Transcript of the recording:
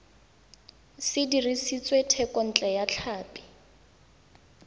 se dirisitswe thekontle ya tlhapi